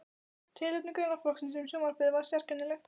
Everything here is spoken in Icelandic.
Tilefni greinaflokksins um sjónvarpið var sérkennilegt.